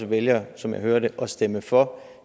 vælger som jeg hører det at stemme for